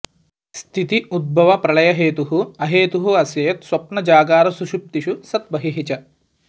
स्थिति उद्भवप्रलयहेतुः अहेतुः अस्य यत् स्वप्नजागरसुषुप्तिषु सत् बहिः च